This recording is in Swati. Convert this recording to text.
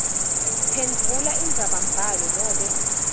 phendvula indzabambhalo nobe